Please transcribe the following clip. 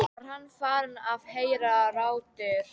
Var hann farinn að heyra raddir?